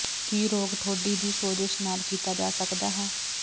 ਕੀ ਰੋਗ ਠੋਡੀ ਦੀ ਸੋਜਸ਼ ਨਾਲ ਕੀਤਾ ਜਾ ਸਕਦਾ ਹੈ